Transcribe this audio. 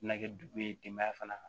Na kɛ dugu ye denbaya fana